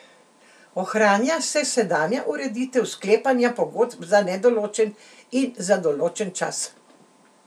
Ohranja se sedanja ureditev sklepanja pogodb za nedoločen in za določen čas.